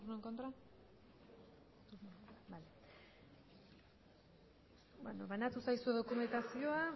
en contra banatu zaizuen dokumentazioa